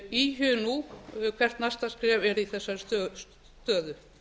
íhugi nú hvet næsta skref verði í þessari stöðu